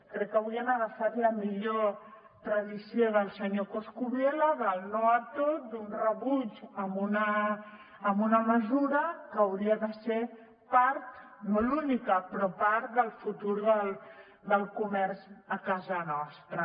crec que avui han agafat la millor tradició del senyor coscubiela del no a tot d’un rebuig a una mesura que hauria de ser part no l’única però part del futur del comerç a casa nostra